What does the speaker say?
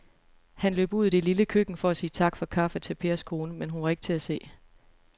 Han løb ud i det lille køkken for at sige tak for kaffe til Pers kone, men hun var ikke til at se.